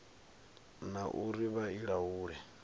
na uri vha i laule